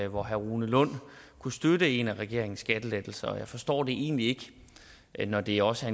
hvor herre rune lund kunne støtte en af regeringens skattelettelser og jeg forstår det egentlig ikke når det også